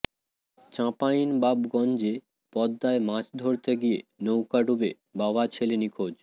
চাঁপাইনবাবগঞ্জে পদ্মায় মাছ ধরতে গিয়ে নৌকা ডুবে বাবা ছেলে নিখোঁজ